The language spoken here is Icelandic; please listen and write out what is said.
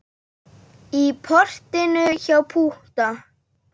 Í portinu hjá Pútta.